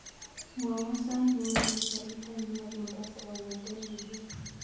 Mwowon sait newendi garit ab maat mombasa kongeten nairobi